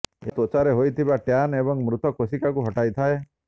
ଏହା ତ୍ୱଚାରେ ହୋଇଥିବା ଟ୍ୟାନ୍ ଏବଂ ମୃତ କୋଷିକାକୁ ହଟାଇଥାଏ